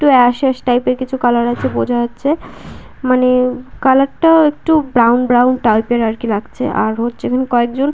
একটু ash ash type -এর কিছু কালার আছে বোঝা যাচ্ছে মানে কালার -টা একটু ব্রাউন ব্রাউন টাইপ -এর আরকি লাগছে আর হচ্ছে এখানে কয়েকজন--